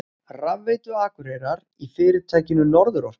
Rafveitu Akureyrar í fyrirtækinu Norðurorku.